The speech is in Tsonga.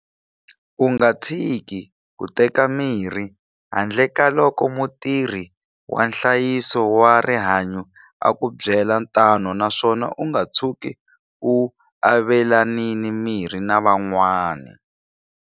U nga tshiki ku teka mirhi handle ka loko mutirhi wa nhlayiso wa rihanyo a ku byela tano naswona u nga tshuki u avelanile mirhi na van'wana.